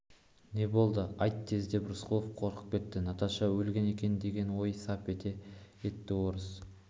не болды айт тез деп рысқұлов қорқып кетті наташа өлген екен деген ой сап етті орыс